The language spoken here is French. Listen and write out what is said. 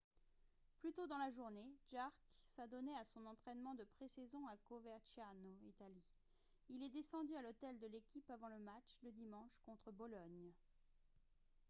plus tôt dans la journée jarque s'adonnait à son entraînement de pré-saison à coverciano italie. il est descendu à l'hôtel de l'équipe avant le match de dimanche contre bologne